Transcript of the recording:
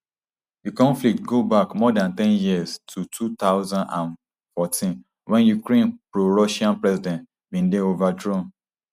di conflict go back more dan ten years to two thousand and fourteen wen ukraine prorussian president bin dey overthrown